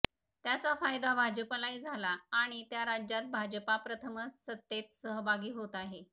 त्याचा फायदा भाजपालाही झाला आणि त्या राज्यात भाजपा प्रथमच सत्तेत सहभागी होत आहे